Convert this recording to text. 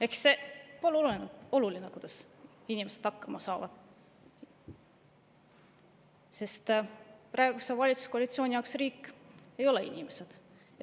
Ehk see pole oluline, kuidas inimesed hakkama saavad, sest praeguse valitsuskoalitsiooni jaoks riik ei ole inimesed.